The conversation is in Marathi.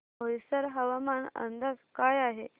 बोईसर हवामान अंदाज काय आहे